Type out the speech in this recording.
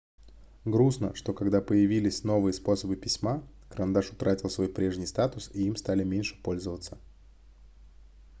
грустно что когда появились новые способы письма карандаш утратил свой прежний статус и им стали меньше пользоваться